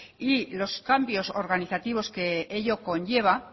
y los cambios organizativos que ello conlleva